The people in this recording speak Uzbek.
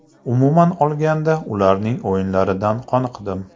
Umuman olganda, ularning o‘yinlaridan qoniqdim”.